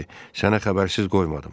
Əsas odur ki, sənə xəbərsiz qoymadım.